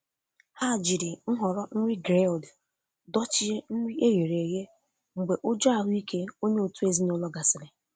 Ha jiri nhọrọ nri grilled dochie nri e ghere eghe mgbe ụjọ ahụike onye òtù ezinụlọ gasịrị.